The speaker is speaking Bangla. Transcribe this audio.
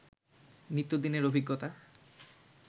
নিত্যদিনের অভিজ্ঞতা